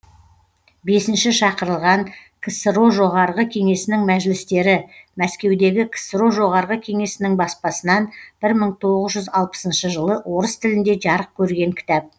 бесінші шақырылған ксро жоғарғы кеңесінің мәжілістері мәскеудегі ксро жоғарғы кеңесінің баспасынан бір мың тоғыз жүз алпысыншы жылы орыс тілінде жарық көрген кітап